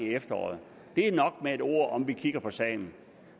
efteråret det er nok med et ord om vil kigge på sagen